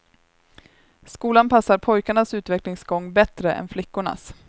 Skolan passar pojkarnas utvecklingsgång bättre än flickornas.